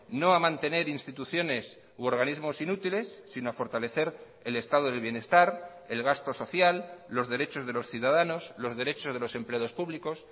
no ha mantener instituciones u organismos inútiles si no a fortalecer el estado del bienestar el gasto social los derechos de los ciudadanos los derechos de los empleados públicos